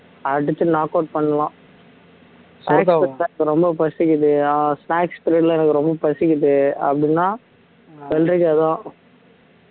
அடிச்சு knock out பண்ணலாம் ரொம்ப பசிக்குது ஆஹ் snacks period ல எனக்கு ரொம்ப பசிக்குது அப்படின்னா வெள்ளரிக்காதான்